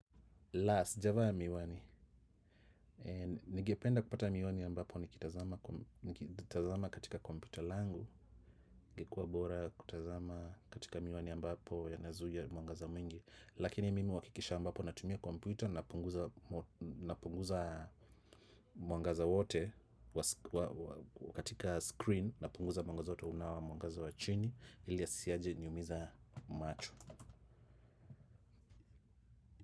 La! Sijavaa miwani. Ningependa kupata miwani ambapo nikitazama katika kompyuta langu. Ingekua bora kutazama katika miwani ambapo yanazuia mwangaza mwingi. Lakini mimi huhakikisha ambapo natumia kompyuta napunguza na punguza mwangaza wote katika screen na punguza mwangaza wote unakuwa mwangaza wa chini. Ili asiyaje niumiza macho.